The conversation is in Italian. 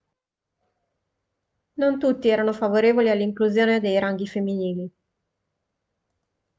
non tutti erano favorevoli all'inclusione dei ranghi femminili